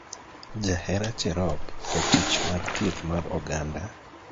Jahera Cherop, jatich mar thieth mar oganda